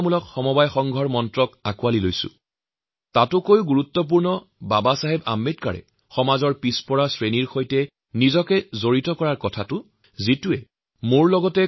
আজি আমি দেশশাসনৰ প্ৰত্যেকটো স্তৰত সহযোগিতামূলক যুক্তৰাষ্ট্ৰ বা কোঅপাৰেটিভ ফেডাৰেলিজম লগতে এঢাপ আগুৱাই প্ৰতিযোগিতামূলক সহযোগিতাসম্পন্ন যুক্তৰাষ্ট্ৰৰ মন্ত্ৰৰে দীক্ষিত হৈছো